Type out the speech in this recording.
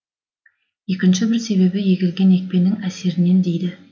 екінші бір себебі егілген екпенің әсерінен дейді